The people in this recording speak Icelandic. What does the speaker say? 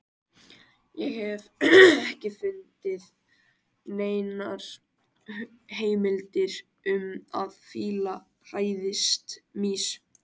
Ég hef ekki fundið neinar heimildir um að fílar hræðist mýs.